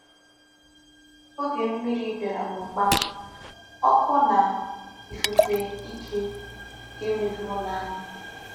Oge mmiri bịara na ụkpa, ọkụ na ifufe ike, nke mebiri ụlọ anyị.